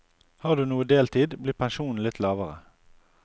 Har du noe deltid, blir pensjonen litt lavere.